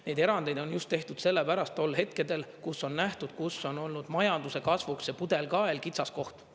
Neid erandeid on tehtud just sellepärast tol hetkedel, kus on nähtud, kus on olnud majanduse kasvuks see pudelikael, kitsaskoht.